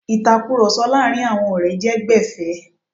Ìtakurọ̀sọ láàrin àwọn ọ̀rẹ́ jẹ́ gbẹ̀fé.